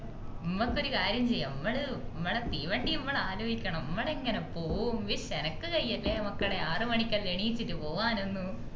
മ്മക്കൊരു കാര്യം ചെയ്യാ മ്മള് മ്മളെ തീവണ്ടി മ്മള് ആലോയിക്കണം മ്മളെങ്ങനെ പോവും ഉയ്സ് എനക്ക് കയ്യാല മക്കളെ ആറുമണിക്കെല്ലാം എണീച്ചിട്ട് പോകാനൊന്നും